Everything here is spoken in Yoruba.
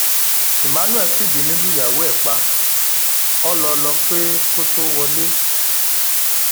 emmanuel fìbínú lùyàwó ẹ̀ pa ọ́ lọ lọ pé kó tóó wọlé